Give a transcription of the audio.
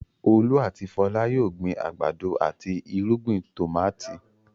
Olú àti Fọlá yóò gbin àgbàdo àti irúgbìn tòmátì.